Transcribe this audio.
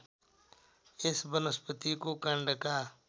यस वनस्पतिको काण्डका